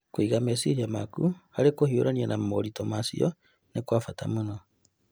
Kũiga meciria maku harĩ kũhiũrania na moritũ macio nĩ kwa bata mũno.